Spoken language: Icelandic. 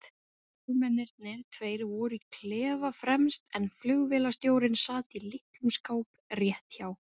Flugmennirnir tveir voru í klefa fremst en flugvélstjórinn sat í litlum skáp rétt hjá